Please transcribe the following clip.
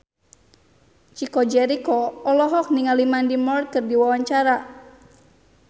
Chico Jericho olohok ningali Mandy Moore keur diwawancara